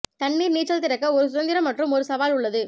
தண்ணீர் நீச்சல் திறக்க ஒரு சுதந்திரம் மற்றும் ஒரு சவால் உள்ளது